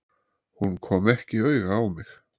Hún kom ekki auga á mig.